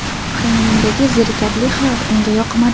Pxenyandagi zerikarli hayot unga yoqmadi.